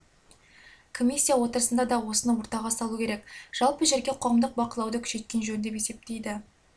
комиссия отырысында да осыны ортаға салуы керек жалпы жерге қоғамдық бақылауды күшейткен жөн деп есептейді